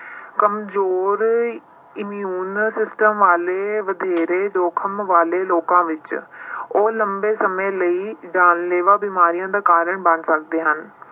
ਕੰਮਜ਼ੋਰ immune system ਵਾਲੇ ਵਧੇਰੇ ਜੋਖਿਮ ਵਾਲੇ ਲੋਕਾਂ ਵਿੱਚ ਉਹ ਲੰਬੇ ਸਮੇਂ ਲਈ ਜਾਨਲੇਵਾ ਬਿਮਾਰੀਆਂ ਦਾ ਕਾਰਨ ਬਣ ਸਕਦੇ ਹਨ।